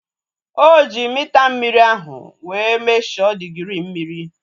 O ji mita mmiri ahu wee mesho digirii mmiri